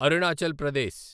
Arunachal Pradesh